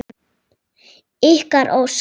Ykkar Ósk.